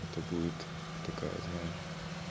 это будет такая знаешь